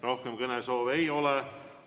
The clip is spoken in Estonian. Rohkem kõnesoove ei ole.